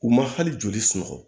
U ma hali joli sunɔgɔ